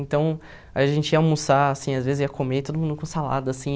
Então, a gente ia almoçar, assim, às vezes ia comer, todo mundo com salada, assim.